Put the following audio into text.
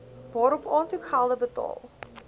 waarop aansoekgelde betaal